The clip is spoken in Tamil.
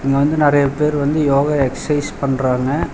இங்க வந்து நறையா பேரு வந்து யோகா எக்ஸைஸ் பண்றாங்க.